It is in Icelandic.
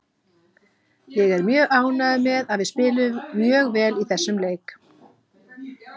Ég er mjög ánægður með að við spiluðum mjög vel í þessum leik